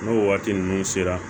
N'o waati ninnu sera